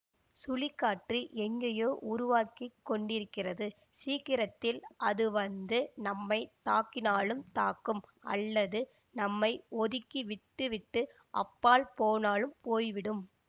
சுழிக்காற்று எங்கேயோ உருவாகி கொண்டிருக்கிறது சீக்கிரத்தில் அதுவந்து நம்மை தாக்கினாலும் தாக்கும் அல்லது நம்மை ஒதுக்கி விட்டுவிட்டு அப்பால் போனாலும் போய்விடும்